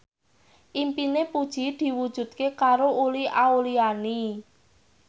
impine Puji diwujudke karo Uli Auliani